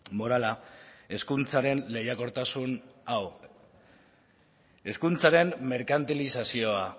morala hezkuntzaren lehiakortasun hau hezkuntzaren merkantilizazioa